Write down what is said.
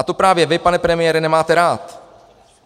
A to právě vy, pane premiére, nemáte rád.